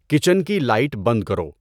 kitchen کی light بند کرو